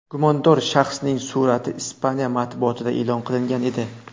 Gumondor shaxsning surati Ispaniya matbuotida e’lon qilingan edi .